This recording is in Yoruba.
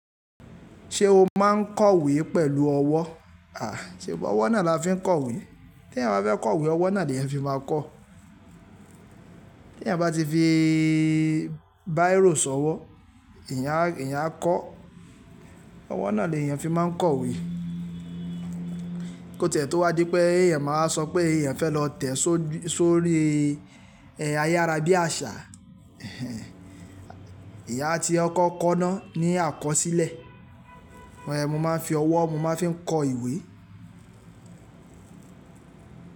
Ṣé o máa ń kọ ìwé pẹ̀lú ọwọ́? À, ṣe bi òwọ́ náà la fi ń kọ ìwé? Tí èyàn bá fẹ́ kọ ìwé, ọwọ́ náà ni èyàn fi máa ń kọ. Tí èyàn bá ti fi bíró ṣọwọ́, èyàn á, èyàn á kọ. Ọwọ́ náà ni èyàn fi máa ń kọ ìwé. Kó tẹ́ẹ́ tó wá dí pé èyàn máa sọ pé èyàn fẹ́ lọ tẹ̀ sórí ayárabíàṣà. Ẹ̀hẹ̀, eeyan a ti kọkọ Kọ́ná ni àkọsílẹ̀. Mo máa ń fi ọwọ́ mo máa ń fi ń kọ ìwé.